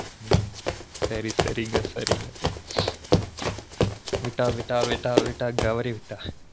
ம்ம் சரி சரிங்க சரிங்க விட்டா விட்டா விட்டா விட்டா தவறிவிட்டா